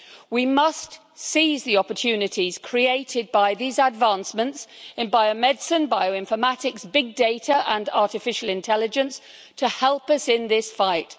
We must seize the opportunities created by these advancements in biomedicine, bioinformatics, big data and artificial intelligence to help us in this fight.